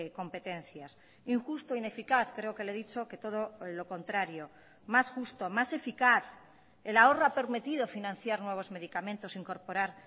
competencias injusto ineficaz creo que le he dicho que todo lo contrario más justo más eficaz el ahorro ha permitido financiar nuevos medicamentos incorporar